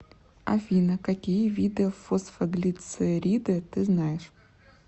афина какие виды фосфоглицериды ты знаешь